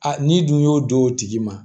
A n'i dun y'o don o tigi ma